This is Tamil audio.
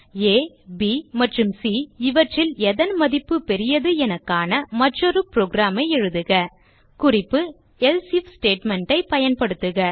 ஆ ப் மற்றும் சி இவற்றில் எதன் மதிப்பு பெரியது என காண மற்றொரு புரோகிராம் ஐ எழுதுக குறிப்பு else ஐஎஃப் ஸ்டேட்மெண்ட் ஐ பயன்படுத்துக